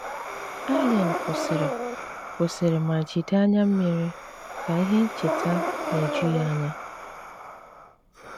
Állén kwúsírị kwúsírị ma jídé ányá mmíri ká íhé ńchéta ná-éjù yá ányá.